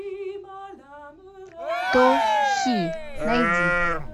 то хи найди